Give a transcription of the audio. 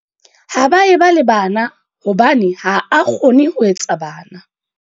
Ha ba e ba le bana hobane ha a kgone ho etsa bana.